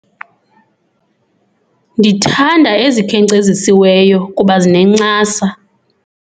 Ndithanda ezikhenkcezisiweyo kuba zinencasa.